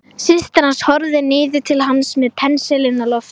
Systir hans horfði niður til hans með pensilinn á lofti.